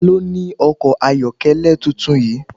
Ta ló ni ọkọ̀ ayokele tuntun yìí?